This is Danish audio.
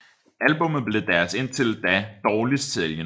Albummet blev deres indtil da dårligst sælgende